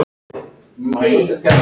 Var það ekki!